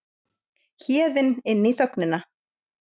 Héðinn inn í þögnina.